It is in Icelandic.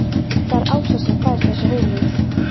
Það er Ása sem fær þessa hugmynd.